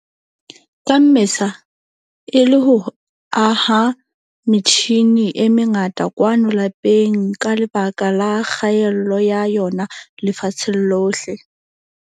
ka Mmesa, e le ho aha metjhine e mengata kwano lapeng ka lebaka la kgaello ya yona lefatsheng lohle.